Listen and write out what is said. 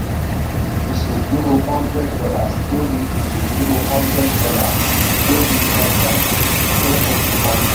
ìṣèdúró hundred dollars lórí ìṣèdúró hundred dollars lórí ọjà fún oṣù kan.